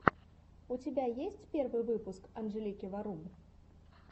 у тебя есть первый выпуск анжелики варум